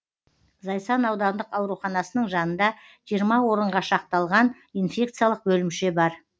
зайсан аудандық ауруханасының жанында жиырма орынға шақталған инфекциялық бөлімше бар